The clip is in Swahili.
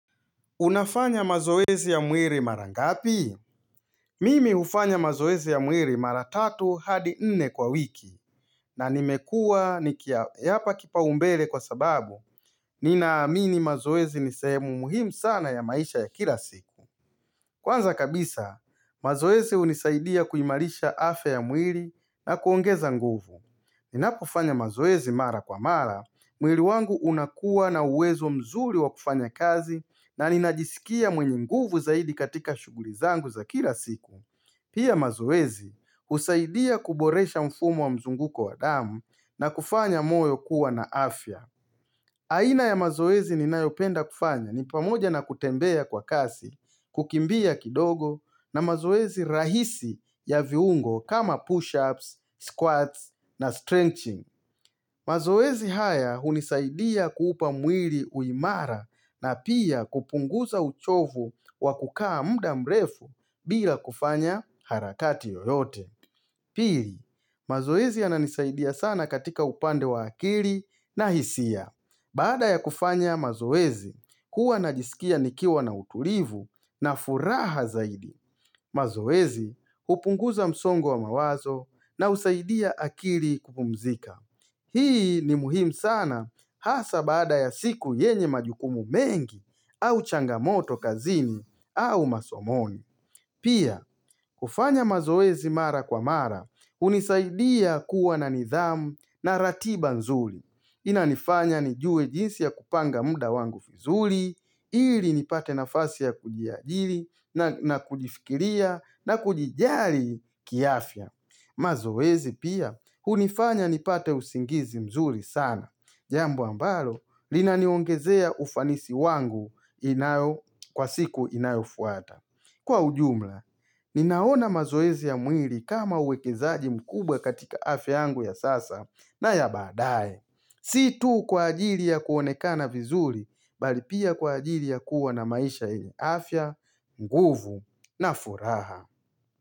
Unafanya mazoezi ya mwili mara ngapi? Mimi hufanya mazoezi ya mwili mara tatu hadi nne kwa wiki na nimekuwa nikiyapa kipaumbele kwa sababu Ninaamini mazoezi ni sehemu muhimu sana ya maisha ya kila siku Kwanza kabisa, mazoezi hunisaidia kuimarisha afya ya mwili na kuongeza nguvu Ninapofanya mazoezi mara kwa mara, mwili wangu unakuwa na uwezo mzuri wa kufanya kazi na ninajisikia mwenye nguvu zaidi katika shughuli zangu za kila siku. Pia mazoezi husaidia kuboresha mfumo wa mzunguko wa damu na kufanya moyo kuwa na afya. Aina ya mazoezi ninayopenda kufanya ni pamoja na kutembea kwa kasi, kukimbia kidogo na mazoezi rahisi ya viungo kama push-ups, squats na stretching. Mazoezi haya hunisaidia kuupa mwili uimara na pia kupunguza uchovu wa kukaa muda mrefu bila kufanya harakati yoyote. Pili, mazoezi yananisaidia sana katika upande wa akili na hisia. Baada ya kufanya mazoezi, huwa najisikia nikiwa na utulivu na furaha zaidi. Mazoezi, hupunguza msongo wa mawazo na husaidia akili kupumzika. Hii ni muhimu sana hasa baada ya siku yenye majukumu mengi au changamoto kazini au masomoni. Pia, kufanya mazoezi mara kwa mara, hunisaidia kuwa na nidhamu na ratiba nzuri. Inanifanya nijue jinsi ya kupanga muda wangu vizuri, ili nipate nafasi ya kujiajiri na kujifikiria na kujijali kiafya. Mazoezi pia hunifanya nipate usingizi mzuri sana, jambo ambalo linaniongezea ufanisi wangu inayo Kwa siku inayofuata. Kwa ujumla, ninaona mazoezi ya mwili kama uwekezaji mkubwa katika afya yangu ya sasa na ya baadaye Si tu kwa ajili ya kuonekana vizuri, bali pia kwa ajili ya kuwa na maisha yenye afya, nguvu na furaha.